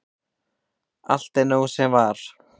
allt er núna af sem var